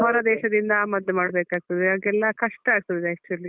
ಹೊರದೇಶದಿಂದ ಆಮದು ಮಾಡ್ಬೇಕಾಗ್ತದೆ ಆಗೆಲ್ಲ ಕಷ್ಟ ಆಗ್ತದೆ actually .